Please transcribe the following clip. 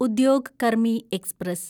Udyog Karmi express